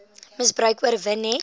misbruik oorwin net